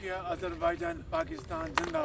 Türkiyə, Azərbaycan, Pakistan Zindabad.